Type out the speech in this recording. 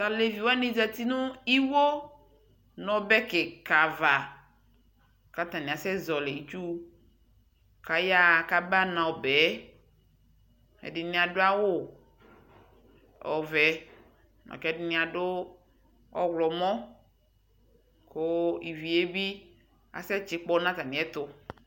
Taleviwani ƶati newuo nɔbɛ kiikava katani asɛ ƶɔli itsuu kayawa kaba nɔɔ bɛɛ Ɛdini aduawuvɛ kɛdini adu ɔwlɔmɔTuvie bi asɛ tsikpɔ natamiɛtu